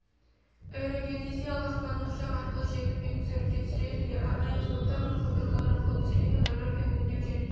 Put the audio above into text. аэрогеодезия аспаннан ұшақ арқылы жердің бетін суретке түсіреді де арнайы аспаптар мен қондырғылар арқылы түсірген фотографияны өңдеу және